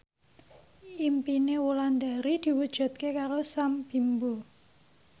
impine Wulandari diwujudke karo Sam Bimbo